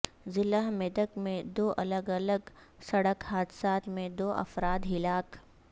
ضلع میدک میں دو الگ الگ سڑک حادثات میں دو افراد ہلاک